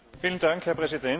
Herr Präsident!